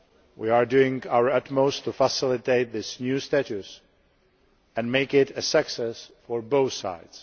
We are doing our utmost to facilitate this new status and make it a success for both sides.